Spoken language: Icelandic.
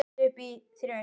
Það er alveg á hreinu.